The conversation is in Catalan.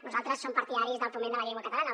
nosaltres som partidaris del foment de la llengua catalana